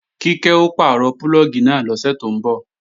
Kíkẹ́ ó pàrọ̀ púlọ̀gì náà lọ́sẹ̀ tó ń bọ̀